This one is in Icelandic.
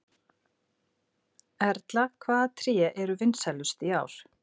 Erla, hvaða tré eru vinsælust í ár?